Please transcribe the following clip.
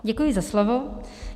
Děkuji za slovo.